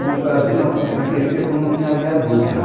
Uma ocasião, porque naquele tempo não tinha a via Dutra.